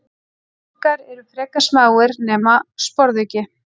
uggar eru frekar smáir nema sporðuggi